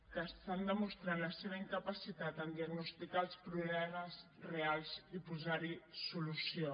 que estan demostrant la seva incapacitat a diagnosticar els problemes reals i posar hi solució